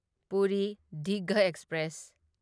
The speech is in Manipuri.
ꯄꯨꯔꯤ ꯗꯤꯘꯥ ꯑꯦꯛꯁꯄ꯭ꯔꯦꯁ